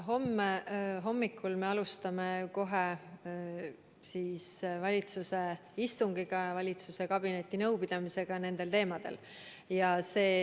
Homme hommikul me alustame kohe valitsuse istungiga ja kabinetinõupidamisega nendel teemadel.